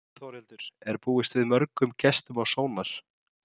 Þórhildur, er búist við mörgum gestum á Sónar?